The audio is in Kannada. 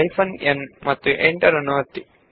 ಹೈಫೆನ್ n ಮತ್ತು ಎಂಟರ್ ಒತ್ತಿ